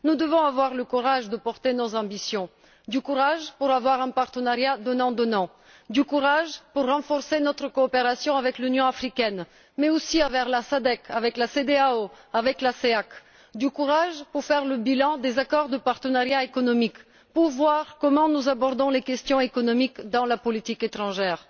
Nous devons avoir le courage de porter nos ambitions, du courage pour avoir un partenariat donnant donnant, du courage pour renforcer notre coopération avec l'Union africaine, mais aussi avec la SADC, la Cedeao et la CEEAC, du courage pour faire le bilan des accords de partenariat économique et pour voir comment nous abordons les questions économiques dans la politique étrangère.